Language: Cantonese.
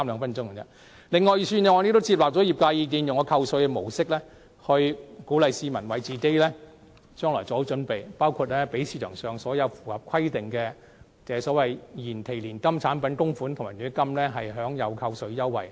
此外，預算案亦接納了業界意見，以扣稅模式鼓勵市民為自己的未來做好準備，包括給予市場上所有符合規定的延期年金產品供款及強積金供款扣稅優惠。